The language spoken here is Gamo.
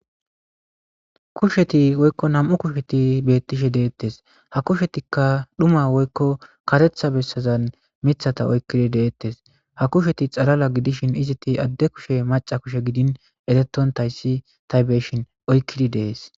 Kusheti woykko na'mu kusheti beettishe deettes ha kushetikka dhuma woykko karetha bessazan mithata oykkidi deettes ha kusheti xalala gidishin iziti adde kushe maca kushe gidin eretontayssi taybeshin oykkidi dees